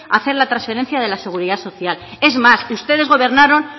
a hacer la transferencia de la seguridad social es más ustedes gobernaron